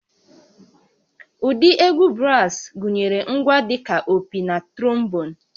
Ụdị egwu brass gụnyere ngwa dị ka opi na trombon